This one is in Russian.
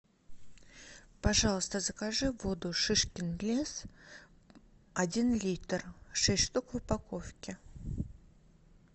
пожалуйста закажи воду шишкин лес один литр шесть штук в упаковке